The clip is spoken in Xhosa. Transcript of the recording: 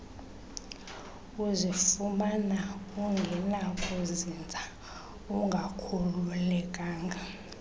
uzifumana ungenakuzinza ungakhululekanga